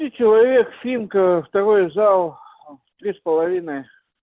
и человек финка второй зал в три с половиной